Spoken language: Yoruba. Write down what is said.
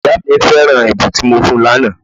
Ìyá mí feran ẹ̀bùn tí mo fún un lànà